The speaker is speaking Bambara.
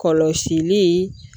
Kɔlɔsili